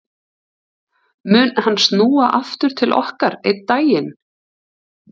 Mun hann snúa aftur til okkar einn daginn?